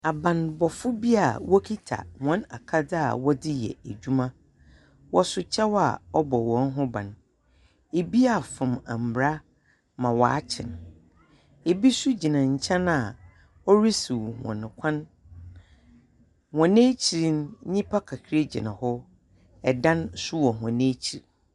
Abanbɔfoɔ bi a wokita wɔn akadze a wɔdze yɛ edwuma. Wɔso kyɛw a ɔbɔ wɔn ho ban. Ebi afom mbra ma wakye no. Ebi so gyina nkyɛn a ɔresiw wɔn kwan. Wɔn ekyir no nyipa kakra gyina hɔ, ɛdan nso wɔ wɔn ekyir.